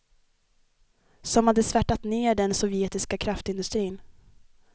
Som hade svärtat ner den sovjetiska kraftindustrin.